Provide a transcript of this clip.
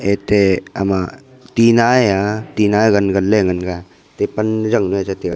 ete ama tina e a tina a gan gan ley a ngan ga.